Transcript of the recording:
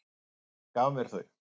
Hún gaf mér þau.